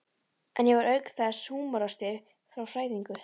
En ég var auk þess húmoristi frá fæðingu.